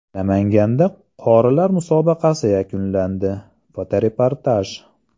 Namanganda qorilar musobaqasi yakunlandi (fotoreportaj).